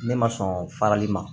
Ne ma sɔn farali ma